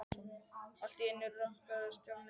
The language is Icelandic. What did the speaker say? Allt í einu rankaði Stjáni við sér.